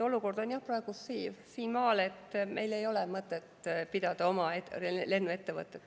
Olukord on jah praegu siinmaal, et meil ei ole mõtet pidada oma lennuettevõtet.